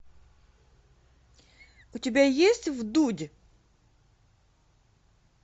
у тебя есть вдудь